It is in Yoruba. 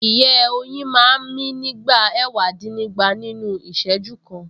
Ìyẹ́ oyin máa ń mí nígbà ẹ̀wàdínnígba nínú Ìṣẹ́jú kan